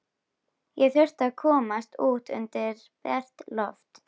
Ég þurfti að komast út undir bert loft.